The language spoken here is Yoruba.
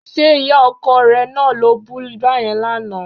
Ṣé ìyá ọkọ rẹ náà lo bú báyẹn lánàá?